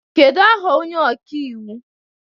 Kedu aha onye ọka iwu